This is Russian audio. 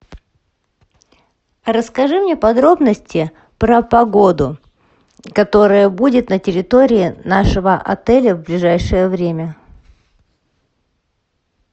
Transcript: расскажи мне подробности про погоду которая будет на территории нашего отеля в ближайшее время